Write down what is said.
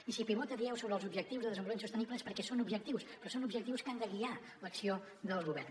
i si pivo·ta dieu sobre els objectius de desenvolupament sostenible és perquè són objectius però són objectius que han de guiar l’acció del govern